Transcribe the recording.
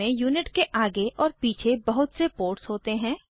इसमें यूनिट के आगे और पीछे बहुत से पोर्ट्स होते हैं